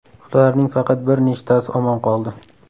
Ularning faqat bir nechtasi omon qoldi.